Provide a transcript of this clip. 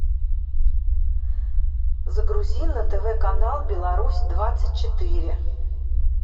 загрузи на тв канал беларусь двадцать четыре